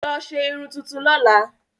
Lọ ṣe irun tuntun lọ́la!